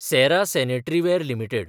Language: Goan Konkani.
सॅरा सॅनट्रीवॅर लिमिटेड